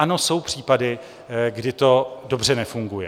Ano, jsou případy, kdy to dobře nefunguje.